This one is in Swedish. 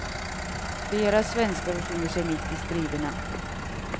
Flera svenskar befinner sig mitt i striderna.